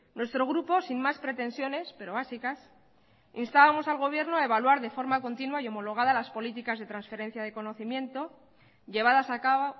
nuestro grupo sin más pretensiones pero básicas instábamos al gobierno a evaluar de forma continua y homologada las políticas de transferencia de conocimiento llevadas a cabo